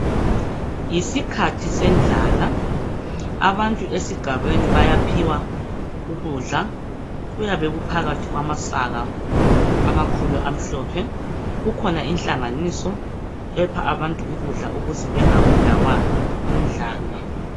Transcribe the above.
Yisikhathi sendlala abantu esigabeni bayaphiwa ukudla. Kuyabe kuphakathi kwamasaka amakhulu amhlophe. Kukhona inhlanganiso epha abantu ukudla ukuze bengabulawa yindlala.